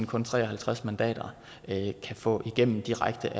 kun tre og halvtreds mandater kan få igennem direkte